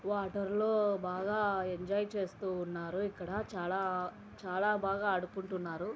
Water లో బాగా enjoy చేస్తూ ఉన్నారు ఇక్కడ చాలా చాలా బాగా ఆడుకుంటున్నారు.